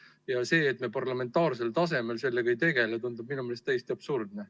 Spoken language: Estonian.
Ja see, et me parlamentaarsel tasemel sellega ei tegele, tundub minu meelest täiesti absurdne.